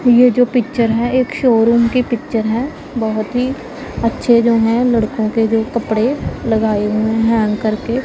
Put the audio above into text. ये जो पिक्चर है एक शोरूम की पिक्चर है बहुत ही अच्छे जो है लड़कों के जो कपड़े लगाए हुए हैं हैंग करके।